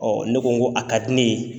ne ko n ko a ka di ne ye